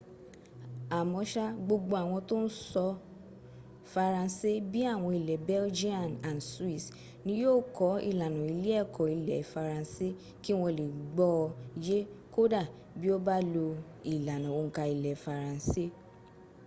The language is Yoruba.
àmọ́sá gbogbo àwọn tó ń sọ faransé bí i àwọn ilẹ̀ belgian and swiss ni yí ò kọ́ ìlànà ilé ẹ̀kọ́ ilẹ̀ faransé kí wọ́n lè gbọ́ ọ yé kódà bí o bá lo ìlànà òǹkà ilẹ̀ faransé